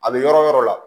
A bɛ yɔrɔ yɔrɔ la